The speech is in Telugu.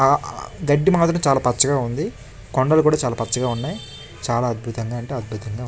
ఆ గడ్డి మాత్రం చాలా పచ్చగా ఉంది. కొండలు కూడ చాలా పచ్చగా ఉన్నాయ్. చాలా అద్భుతంగా అంటే అద్భుతంగా ఉం--